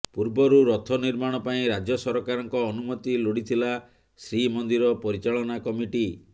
ପୂର୍ବରୁ ରଥ ନିର୍ମାଣ ପାଇଁ ରାଜ୍ୟ ସରକାରଙ୍କ ଅନୁମତି ଲୋଡିଥିଲା ଶ୍ରୀମନ୍ଦିର ପରିଚାଳନା କମିଟି